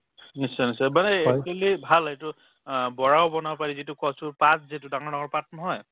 নিশ্চয় নিশ্চয় মানে actually ভাল এইটো অ বৰাও বনাব পাৰি যিটো কচুৰ পাত যিটো ডাঙৰ ডাঙৰ পাত নহয়